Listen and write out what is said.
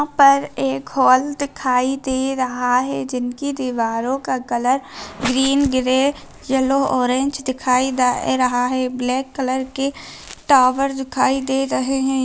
पर एक हॉल दिखाई दे रहा है जिनकी दीवारों का colour green grey yellow orange दिखाई दे रहा है ब्लैक कलर के टॉवर दिखाई दे रहे है।